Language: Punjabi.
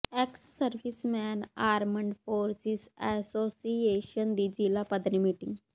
X serviceman armed forces association ਦੀ ਜ਼ਿਲ੍ਹਾ ਪੱਧਰੀ ਮੀਟਿੰਗ